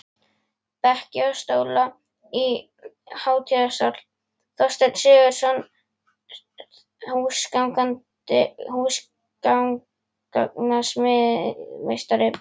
Bekki og stóla í hátíðasal: Þorsteinn Sigurðsson, húsgagnasmíðameistari.